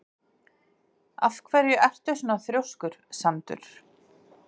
Af hverju ertu svona þrjóskur, Sandur?